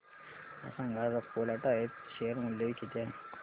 मला सांगा आज अपोलो टायर्स चे शेअर मूल्य किती आहे